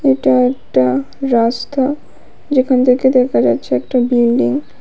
এটা একটা রাস্তা যেখান থেকে দেখা যাচ্ছে একটা বিল্ডিং ।